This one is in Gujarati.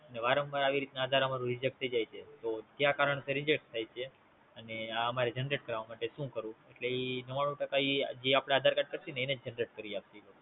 વારંવાર મારુ આધાર કાર્ડ Reject થાય છે તો એને Generate કરવા શું કરુ, શું કરુ, એટલે એ Generate કરી નાખશે